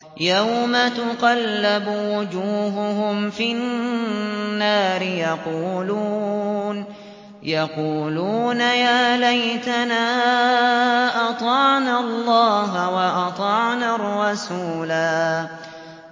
يَوْمَ تُقَلَّبُ وُجُوهُهُمْ فِي النَّارِ يَقُولُونَ يَا لَيْتَنَا أَطَعْنَا اللَّهَ وَأَطَعْنَا الرَّسُولَا